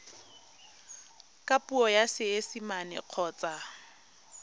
ka puo ya seesimane kgotsa